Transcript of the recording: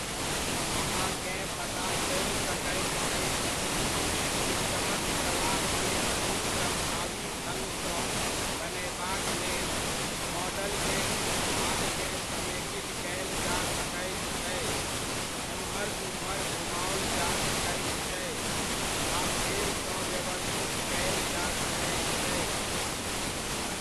अहाँकेँ पता चलि सकैत अछि की सिस्टमक प्रवाह के अधिक प्रभावी ढङ्ग सऽ बनयबाक लेल, मॉडलकेँ किछु भागकेँ समेकित कयल जा सकैत छै, एम्हर उम्हर घुमाओल जा सकैत छै, आ फेरसँ व्यवस्थित कयल जा सकैत छै।